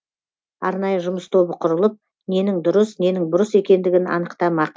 арнайы жұмыс тобы құрылып ненің дұрыс ненің бұрыс екендігін анықтамақ